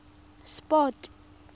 sport